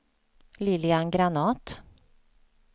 Lilian Granath